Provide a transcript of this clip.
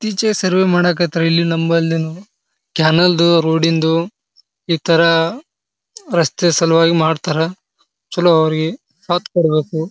ಈಚೆ ಸರ್ವೇ ಮಾಡಕ್ ಹತ್ತರಾ. ಇಲ್ಲಿ ನಮ್ಮಲ್ಲುನು ಚಾನೆಲ್ ರೋಡ್ ಇಂದು ಇತರ ರಸ್ತೆ ಸಲುವಾಗಿ ಮಾಡ್ತಾರಾ ಚಲೋ ಅವ್ರಿಗೆ ಸಾತ್ ಕೊಡ್ಬೇಕು.